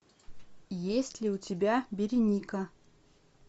есть ли у тебя береника